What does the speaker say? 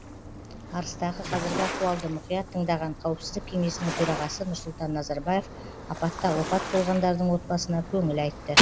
арыстағы қазіргі ахуалды мұқият тыңдаған қауіпсіздік кеңесінің төрағасы нұрсұлтан назарбаев апатта опат болғандардың отбасына көңіл айтты